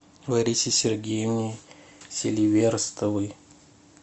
ларисе сергеевне селиверстовой